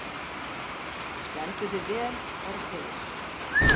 Þú stendur þig vel, Orfeus!